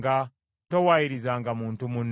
Towaayirizanga muntu munno.